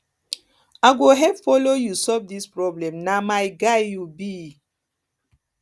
i go help follow you solve this problem na my guy you be